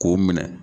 K'o minɛ